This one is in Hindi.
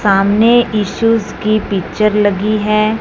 सामने इशूस की पिक्चर लगी है।